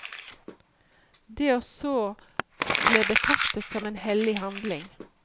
Det å så ble betraktet som en hellig handling.